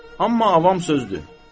Amma avam sözdür.